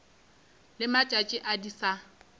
le matšatši a di sa